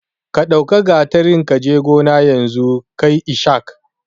Ka ɗau gatarin kaji gona yanzu kai ishak